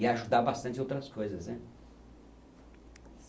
E a ajudar bastante outras coisas, né?